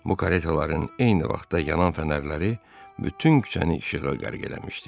Bu karetaların eyni vaxtda yanan fənərləri bütün küçəni işığa qərq eləmişdi.